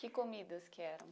Que comidas que eram?